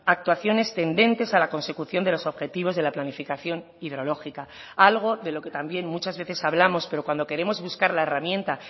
actuaciones tendentes a la consecución de los objetivos de la planificación hidrológica algo de lo que también muchas veces hablamos pero cuando queremos buscar la herramienta